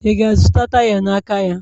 Ị ga-azụta taya n'aka ya?